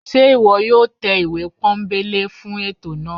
se iwọ yóò tẹ ìwé pónbelé fún etò náá?